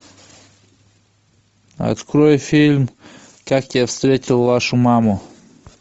открой фильм как я встретил вашу маму